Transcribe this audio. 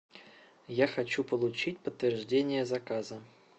я хочу получить подтверждение заказа